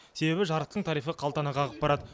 себебі жарықтың тарифі қалтаны қағып барады